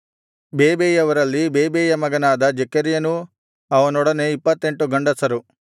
ಬೇಬೈಯವರಲ್ಲಿ ಬೇಬೈಯ ಮಗನಾದ ಜೆಕರ್ಯನೂ ಅವನೊಡನೆ 28 ಗಂಡಸರು